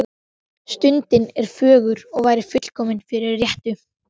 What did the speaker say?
Stundin er fögur og væri fullkomin fyrir rettu.